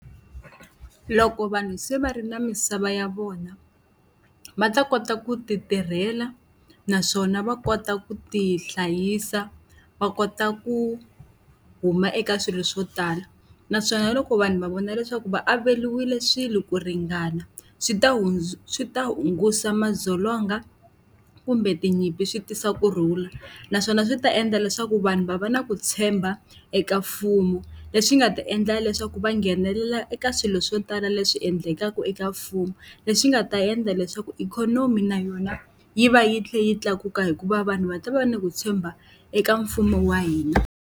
Loko vanhu se va ri na misava ya vona va ta kota ku ti tirhela, naswona va kota ku ti hlayisa, va kota ku huma eka swilo swo tala. Naswona loko vanhu va vona leswaku va averiwele swilo ku ringana, swi ta swi ta hunguta madzolonga kumbe tinyimpi swi tisa kurhula. Naswona swi ta endla leswaku vanhu va va na ku tshemba eka mfumo, leswi nga ta endla leswaku va nghenelela eka swilo swo tala leswi endlekaka eka mfumo. Leswi nga ta endla leswaku ikhonomi na yona yi va yi tlhela yi tlakuka hikuva vanhu va ta va ni ku tshemba eka mfumo wa hina.